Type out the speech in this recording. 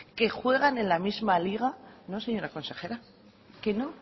que juegan en la misma liga no señora consejera que no